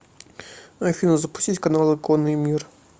афина запустить каналы конный мир